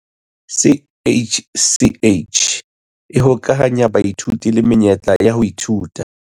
CACH e hokahanya baithuti le menyetla ya ho ithuta